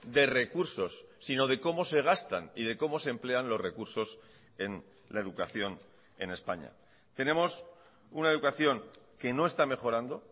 de recursos sino de cómo se gastan y de cómo se emplean los recursos en la educación en españa tenemos una educación que no está mejorando